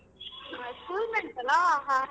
ಹ school mates ಅಲಾ ಹಾ ಹಾ.